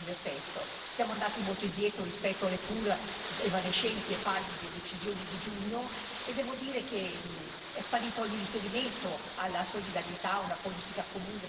Siamo andati molto indietro rispetto alle pur evanescenti e pallide decisioni di giugno e devo dire che è sparito ogni riferimento alla solidarietà, a una politica comune sull'immigrazione.